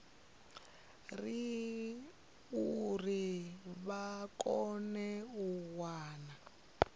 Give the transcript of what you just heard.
uri vha kone u wana